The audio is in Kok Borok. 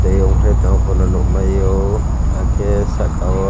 tai ankhlaoi nugmaio ah ke saka o.